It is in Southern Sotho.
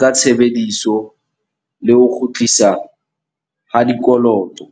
ka tshebediso le ho kgutlisa ha dikoloto.